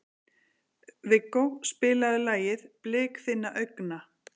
Viggó, spilaðu lagið „Blik þinna augna“.